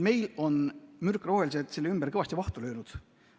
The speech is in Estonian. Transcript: Meil on mürkrohelised selle ümber kõvasti vahtu löönud.